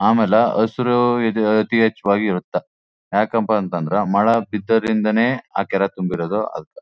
ಆಮೇಲೆ ಹಸಿರು ಇದು ಅತೀ ಹೆಚ್ಚಾಗಿ ಇರುತ್ತೆ . ಯಾಕಪ್ಪ ಅಂತ ಅಂದ್ರೆ ಮಳೆ ಬಿಥೋದು ಇಂದಾನೆ ಆ ಕೆರೆ ತುಂಬಿರೋದು ಅದ್ಕ.